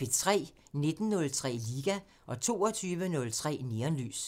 19:03: Liga 22:03: Neonlys